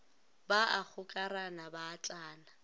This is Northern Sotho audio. ba a gokarana ba atlana